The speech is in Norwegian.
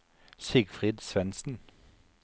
Sigfrid Svensen